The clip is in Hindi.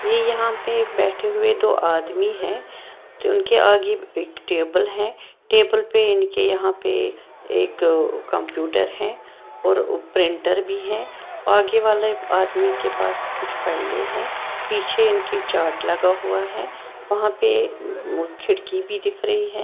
ये यहां पे बैठे हुए दो आदमी हैं तो उनके आगे एक टेबल है टेबल पे इनके यहां पे एक कंप्यूटर हैं और प्रिंटर भी है आगे वाले आदमी के पास कुछ फाइलें हैं पीछे इनकी चार्ट लगा हुआ है वहां पे खिड़की भी दिख रही है।